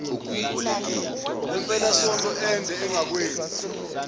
kwempelasonto ende ungakwenzi